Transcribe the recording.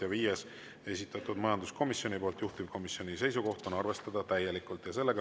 Ja viies, esitatud majanduskomisjoni poolt, juhtivkomisjoni seisukoht: arvestada täielikult.